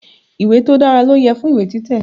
Ìwé tó dára ló yẹ fún ìwé títẹ̀.